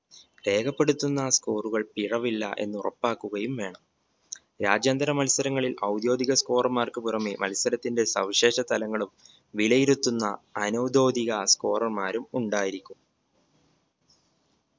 രേഖപ്പെടുത്തുന്ന score കൾ പിഴവില്ല എന്ന ഉറപ്പാക്കുകയും വേണം. രാജ്യാന്തര മത്സരങ്ങളിൽ ഔദ്യോഗിക scorer മാർക്ക് പുറമെ മത്സരത്തിന്റെ സവിശേഷ തലങ്ങളും വിലയിരുത്തുന്ന അനൗദ്യോഗിക scorer മാരും ഉണ്ടായിരിക്കും